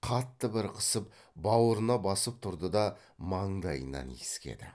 қатты бір қысып бауырына басып тұрды да маңдайынан иіскеді